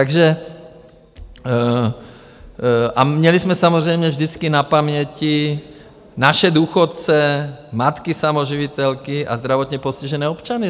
A měli jsme samozřejmě vždycky na paměti naše důchodce, matky samoživitelky a zdravotně postižené občany.